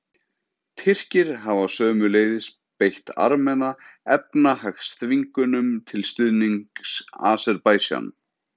Tyrkir hafa sömuleiðis beitt Armena efnahagsþvingunum til stuðnings Aserbaídsjan.